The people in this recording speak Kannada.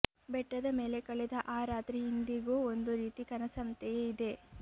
ಬೆಟ್ಟದ ಮೇಲೆ ಕಳೆದ ಆ ರಾತ್ರಿ ಇಂದಿಗೂ ಒಂದು ರೀತಿ ಕನಸಂತೆಯೇ ಇದೆ